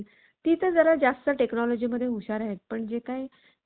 ती तर जरा जास्त technology मध्ये हुशार आहेत. पण जे